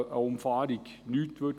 Hier brächte eine Umfahrung nichts.